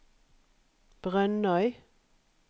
Brønnøy